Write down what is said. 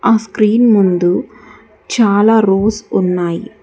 ఆ స్క్రీన్ ముందు చాలా రోస్ ఉన్నాయి.